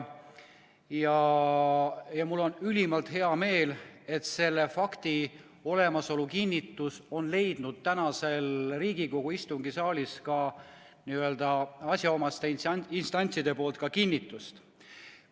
Ja mul on ülimalt hea meel, et see fakt on leidnud täna siin Riigikogu istungisaalis ka asjaomaste instantside kinnitust.